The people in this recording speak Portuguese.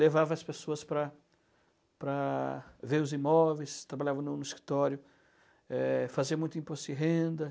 Levava as pessoas para para ver os imóveis, trabalhava no no escritório, eh, fazia muito imposto de renda.